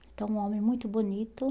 Que é um homem muito bonito.